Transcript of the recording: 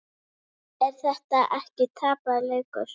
Er þetta ekki tapaður leikur?